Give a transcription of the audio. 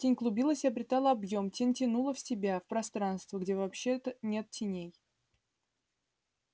тень клубилась и обретала объем тень тянула в себя в пространство где вообще-то нет теней